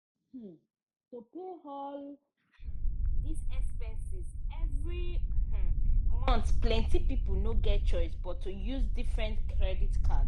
um to pay for all um dis expenses every um month plenti pipo no get chioce but to use different credit card.